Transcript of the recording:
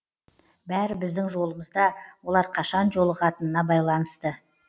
бәрі біздің жолымызда олар қашан жолығатынына байланысты